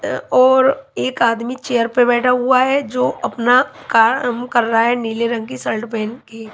और एक आदमी चेयर पर बैठा हुआ है जो अपना काम कर रहा हैनीले रंग की शर्ट पहन के।